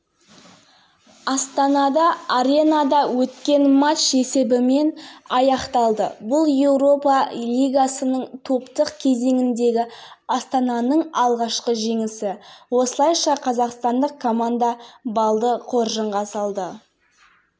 еуропа лигасының топтық кезеңіндегі астана мен маккаби кездесуі елордалық команданың пайдасына шешілді соңғы жылда ұлттық компанияның